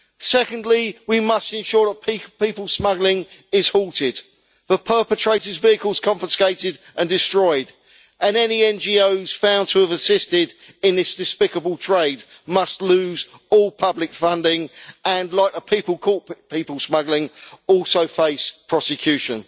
Secondly, we must ensure that people smuggling is halted, the perpetrators' vehicles confiscated and destroyed, and any NGOs found to have assisted in this despicable trade must lose all public funding and, like the people caught people smuggling, also face prosecution.